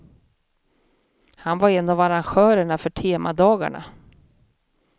Han var en av arrangörerna för temadagarna.